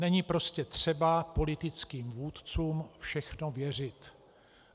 Není prostě třeba politickým vůdcům všechno věřit.